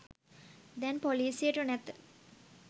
දැන් පොලිසියට නැත